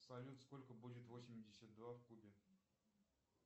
салют сколько будет восемьдесят два в кубе